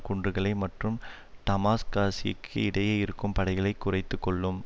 குன்றுகளை மற்றும் டமாஸ்காஸுக்கு இடையே இருக்கும் படைகளை குறைத்து கொள்ளும்